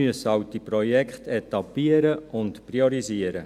Wir müssen diese Projekte halt etappieren und priorisieren.